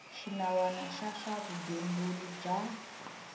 xinawana xa swa vugembuli bya